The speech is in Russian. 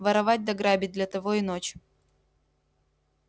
воровать да грабить для того и ночь